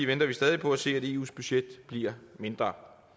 venter vi stadig på at se at eus budget bliver mindre